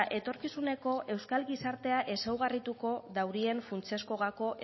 etorkizuneko euskal gizartea ezaugarrituko daurien funtsezko gako